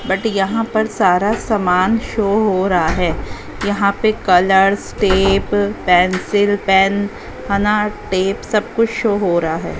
but यहां पर सारा सामान शो हो रहा है यहा पे colours tape pencil pen tape सब कुछ शो हो रहा--